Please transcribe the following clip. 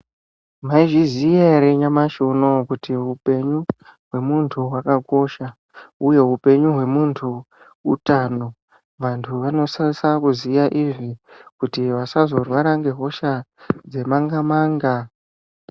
Mwaizviziya ere nyamashi unowu kuti upenyu hwemuntu hwakakosha uye upenyu hwemuntu utano, vantu vanosisa kuziya izvi kuti vasazorwara ngehosha dzemanga manga.